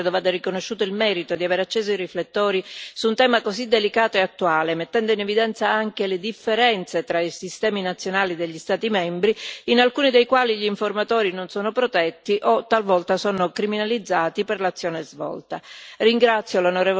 Al Parlamento europeo credo vada riconosciuto il merito di aver acceso i riflettori su un tema così delicato e attuale, mettendo in evidenza anche le differenze tra i sistemi nazionali degli Stati membri, in alcuni dei quali gli informatori non sono protetti o, talvolta, sono criminalizzati per l'azione svolta.